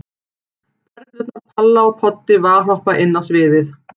Perurnar Palla og Poddi valhoppa inn á sviðið.